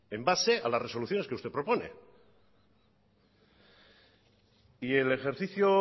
en base a las resoluciones que usted propone y el ejercicio